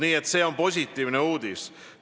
Nii et see on positiivne uudis.